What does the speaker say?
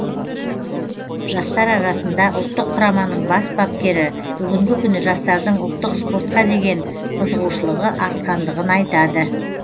жастар арасында ұлттық құраманың бас бапкері бүгінгі күні жастардың ұлттық спортқа деген қызығушылығы артқандығын айтады